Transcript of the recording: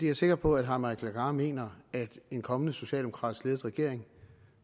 er sikker på at herre mike legarth mener at en kommende socialdemokratisk ledet regering